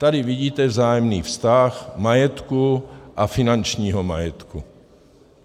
Tady vidíte vzájemný vztah majetku a finančního majetku.